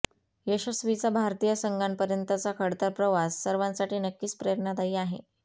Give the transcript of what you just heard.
यशस्वीचा भारतीय संघापर्यंतचा खडतर प्रवास सर्वांसाठी नक्कीच प्रेरणादायी आहे